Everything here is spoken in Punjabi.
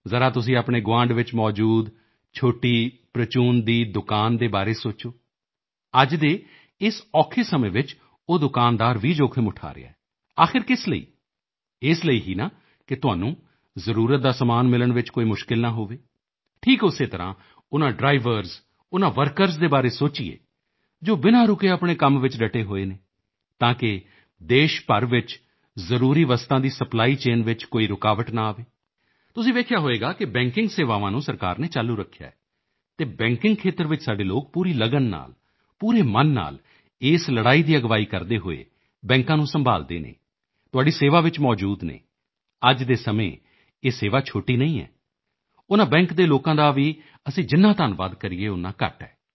ਜ਼ਰਾ ਤੁਸੀਂ ਆਪਣੇ ਗੁਆਂਢ ਵਿੱਚ ਮੌਜੂਦ ਛੋਟੀ ਪ੍ਰਚੂਨ ਦੀ ਦੁਕਾਨ ਦੇ ਬਾਰੇ ਸੋਚੋ ਅੱਜ ਦੇ ਇਸ ਔਖੇ ਸਮੇਂ ਵਿੱਚ ਉਹ ਦੁਕਾਨਦਾਰ ਵੀ ਜੋਖਮ ਉਠਾ ਰਿਹਾ ਹੈ ਆਖ਼ਿਰ ਕਿਸ ਲਈ ਇਸ ਲਈ ਹੀ ਨਾ ਕਿ ਤੁਹਾਨੂੰ ਜ਼ਰੂਰਤ ਦਾ ਸਮਾਨ ਮਿਲਣ ਵਿੱਚ ਕੋਈ ਮੁਸ਼ਕਿਲ ਨਾ ਹੋਵੇ ਠੀਕ ਉਸੇ ਤਰ੍ਹਾਂ ਉਨ੍ਹਾਂ ਡ੍ਰਾਈਵਰਜ਼ ਉਨ੍ਹਾਂ ਵਰਕਰਜ਼ ਦੇ ਬਾਰੇ ਸੋਚੀਏ ਜੋ ਬਿਨਾ ਰੁਕੇ ਆਪਣੇ ਕੰਮ ਵਿੱਚ ਡਟੇ ਹੋਏ ਹਨ ਤਾਂ ਕਿ ਦੇਸ਼ ਭਰ ਵਿੱਚ ਜ਼ਰੂਰੀ ਵਸਤਾਂ ਦੀ ਸਪਲਾਈਚੇਨ ਵਿੱਚ ਕੋਈ ਰੁਕਾਵਟ ਨਾ ਆਵੇ ਤੁਸੀਂ ਵੇਖਿਆ ਹੋਵੇਗਾ ਕਿ ਬੈਂਕਿੰਗ ਸੇਵਾਵਾਂ ਨੂੰ ਸਰਕਾਰ ਨੇ ਚਾਲੂ ਰੱਖਿਆ ਹੈ ਅਤੇ ਬੈਂਕਿੰਗ ਖੇਤਰ ਵਿੱਚ ਸਾਡੇ ਲੋਕ ਪੂਰੀ ਲਗਨ ਨਾਲ ਪੂਰੇ ਮਨ ਨਾਲ ਇਸ ਲੜਾਈ ਦੀ ਅਗਵਾਈ ਕਰਦੇ ਹੋਏ ਬੈਂਕਾਂ ਨੂੰ ਸੰਭਾਲਦੇ ਹਨ ਤੁਹਾਡੀ ਸੇਵਾ ਵਿੱਚ ਮੌਜੂਦ ਹਨ ਅੱਜ ਦੇ ਸਮੇਂ ਇਹ ਸੇਵਾ ਛੋਟੀ ਨਹੀਂ ਹੈ ਉਨ੍ਹਾਂ ਬੈਂਕ ਦੇ ਲੋਕਾਂ ਦਾ ਵੀ ਅਸੀਂ ਜਿੰਨਾ ਧੰਨਵਾਦ ਕਰੀਏ ਓਨਾ ਘੱਟ ਹੈ